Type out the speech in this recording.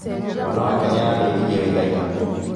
Mwana wake nĩarandeithirie wĩra ira